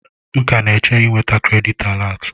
M ka na-eche ịnata kredit alat.